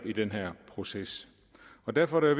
i den her proces derfor er